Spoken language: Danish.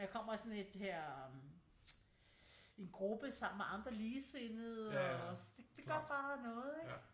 Man kommer i sådan et her en gruppe sammen med andre ligesindede og det gør bare noget ikke